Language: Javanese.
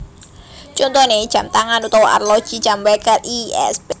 Contoné jam tangan utawa arloji jam wèker lsp